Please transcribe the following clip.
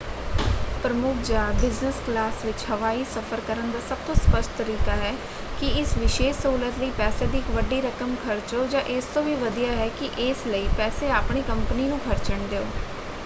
ਪ੍ਰਮੁੱਖ ਜਾਂ business class ਵਿੱਚ ਹਵਾਈ ਸਫ਼ਰ ਕਰਨ ਦਾ ਸਭ ਤੋਂ ਸਪਸ਼ਟ ਤਰੀਕਾ ਹੈ ਕਿ ਇਸ ਵਿਸ਼ੇਸ਼ ਸਹੂਲਤ ਲਈ ਪੈਸਿਆਂ ਦੀ ਇੱਕ ਵੱਡੀ ਰਕਮ ਖਰਚੋ ਜਾਂ ਇਸ ਤੋਂ ਵੀ ਵਧੀਆ ਹੈ ਕਿ ਇਸ ਲਈ ਪੈਸੇ ਆਪਣੀ ਕੰਪਨੀ ਨੂੰ ਖਰਚਣ ਦਿਓ।